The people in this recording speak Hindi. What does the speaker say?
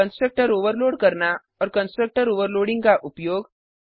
कंस्ट्रक्टर ओवरलोड करना और कंस्ट्रक्टर ओवरलोडिंग का उपयोग